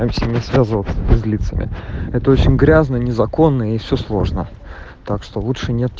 таемся не связываться с физ лицами это очень грязно незаконно и все сложно так что лучше не